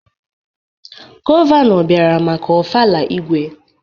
Gọvanọ bịara maka Ofala Igwe.